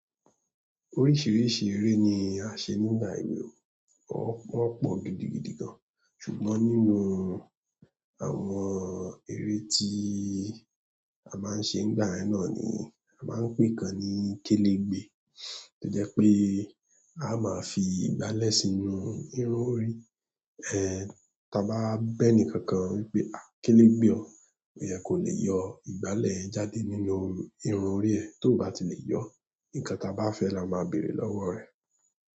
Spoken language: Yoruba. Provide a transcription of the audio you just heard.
Oríṣìíríṣìí eré ni a ṣe nígbà èwe, wọ́n pọ̀ gidigidi gan. Ṣùgbọ́n nínú àwọn eré tí a máa ń ṣe nígbà yẹn náà ni a máa ń pè kan ní kélégbe. Tó jẹ́ pé a máa fi ìgbálẹ̀ sínú irun orí. Ẹ̀ tí a bá bá ẹnìkankan wípé a kélégbe ọ, ó yẹ kò le yọ ìgbálẹ̀ yẹn jáde nínú irun orí ẹ, tó bá ti lè yọ ọ́, nǹkan ta bá fẹ́ ẹ la máa bèrè lọ́wọ́ ẹ.